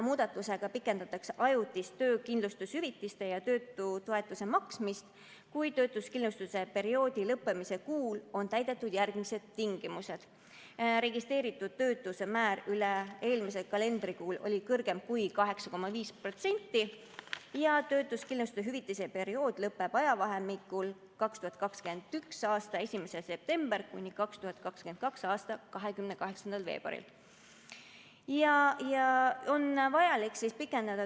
Muudatusega pikendatakse ajutist töötuskindlustushüvitise ja töötutoetuse maksmist, kui töötuskindlustusperioodi lõppemise kuul on täidetud järgmised tingimused: registreeritud töötuse määr üle-eelmisel kalendrikuul oli kõrgem kui 8,5% ja töötuskindlustushüvitise periood lõpeb ajavahemikul 2021. aasta 1. september kuni 2022. aasta 28. veebruar.